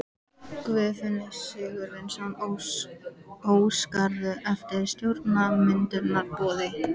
Guðfinnur Sigurvinsson: Óskarðu eftir stjórnarmyndunarumboði?